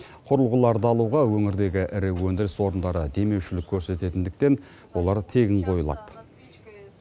құрылғыларды алуға өңірдегі ірі өндіріс орындары демеушілік көрсететіндіктен олар тегін қойылады